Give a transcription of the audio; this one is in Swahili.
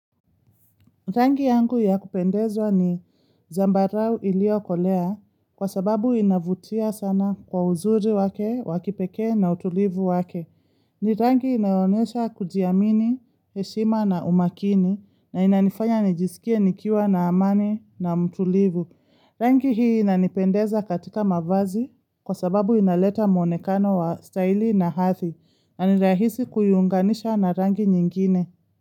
Rangi yangu ya kupendezwa ni zambarau ili okolea kwa sababu inavutia sana kwa uzuri wake, wakipekee na utulivu wake. Ni rangi inayonesha kujiamini, heshima na umakini na inanifanya nijisikie nikiwa na amani na mtulivu. Rangi hii inanipendeza katika mavazi kwa sababu inaleta mwonekano wa staili na hatldhi na ni rahisi kuinganisha na rangi nyingine.